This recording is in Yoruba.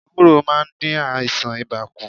Ewúro maá n dín àìsàn ibà kù